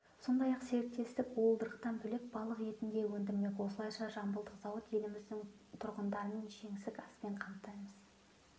сондай-ақ серіктестік уылдырықтан бөлек балық етін де өндірмек осылайша жамбылдық зауыт еліміздің тұрғындарын жеңсік аспен қамтимыз